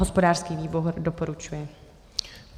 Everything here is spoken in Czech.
Hospodářský výbor doporučuje.